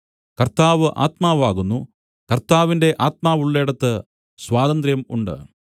കർത്താവ് ആത്മാവാകുന്നു കർത്താവിന്റെ ആത്മാവുള്ളേടത്ത് സ്വാതന്ത്ര്യം ഉണ്ട്